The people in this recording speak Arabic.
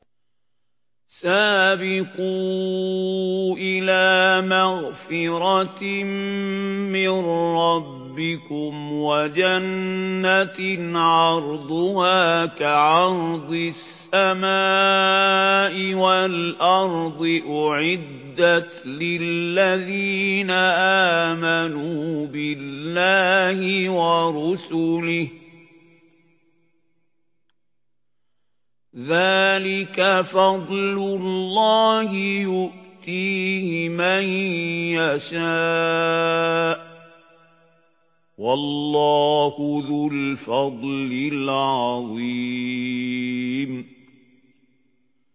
سَابِقُوا إِلَىٰ مَغْفِرَةٍ مِّن رَّبِّكُمْ وَجَنَّةٍ عَرْضُهَا كَعَرْضِ السَّمَاءِ وَالْأَرْضِ أُعِدَّتْ لِلَّذِينَ آمَنُوا بِاللَّهِ وَرُسُلِهِ ۚ ذَٰلِكَ فَضْلُ اللَّهِ يُؤْتِيهِ مَن يَشَاءُ ۚ وَاللَّهُ ذُو الْفَضْلِ الْعَظِيمِ